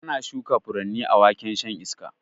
Ana shuka furanni a waken shan iska